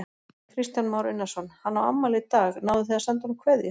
Kristján Már Unnarsson: Hann á afmæli í dag, náðuð þið að senda honum kveðju?